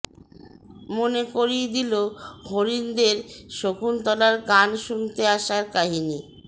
মনে করিয়ে দিল হরিণদের শকুন্তলার গান শুনতে আসার কাহিনি